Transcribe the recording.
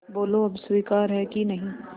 बोलो अब स्वीकार है कि नहीं